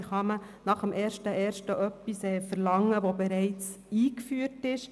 Wie kann man nach dem 1. Januar etwas verlangen, das bereits eingeführt ist?